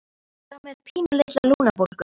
Þú ert bara með pínulitla lungnabólgu